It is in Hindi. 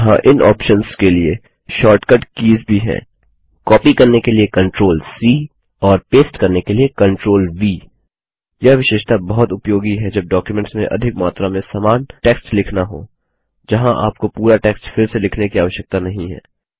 यहाँ इन ऑप्शन्स के लिए शार्टकट कीज भी हैं कॉपी करने के लिए CTRLC और पेस्ट करने के लिए CTRLV यह विशेषता बहुत उपयोगी है जब डॉक्युमेंट्स में अधिक मात्रा में समान टेक्स्ट लिखना हो जहाँ आपको पूरा टेक्स्ट फिर से लिखने की आवश्यकता नहीं है